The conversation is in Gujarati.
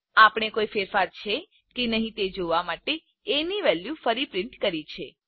આપણે કોઈ ફેરફારો છે કે નહીં તે જોવા માટે એ ની વેલ્યુ ફરી પ્રિન્ટ કરી છે